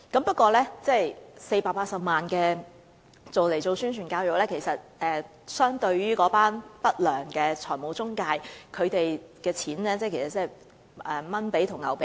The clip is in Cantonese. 不過，擬用於宣傳教育的480萬元相對於不良財務中介所賺取的金錢，可謂"小巫見大巫"。